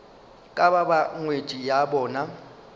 ka ba ngwetši ya bona